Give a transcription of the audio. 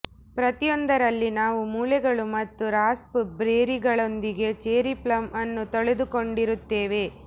ಪ್ರತಿಯೊಂದರಲ್ಲಿ ನಾವು ಮೂಳೆಗಳು ಮತ್ತು ರಾಸ್ಪ್ ಬೆರ್ರಿಗಳೊಂದಿಗೆ ಚೆರ್ರಿ ಪ್ಲಮ್ ಅನ್ನು ತೊಳೆದುಕೊಂಡಿರುತ್ತೇವೆ